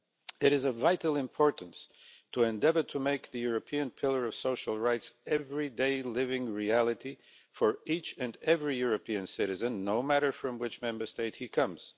It is of vital importance to endeavour to make the European pillar of social rights everyday living reality for each and every European citizen, no matter from which Member State he comes.